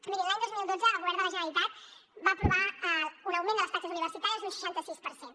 mirin l’any dos mil dotze el govern de la generalitat va aprovar un augment de les taxes universitàries d’un seixanta sis per cent